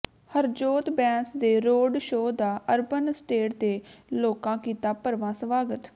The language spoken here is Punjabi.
ਹਰਜੋਤ ਬੈਂਸ ਦੇ ਰੋਡ ਸ਼ੋਅ ਦਾ ਅਰਬਨ ਅਸਟੇਟ ਦੇ ਲੋਕਾ ਕੀਤਾ ਭਰਵਾਂ ਸਵਾਗਤ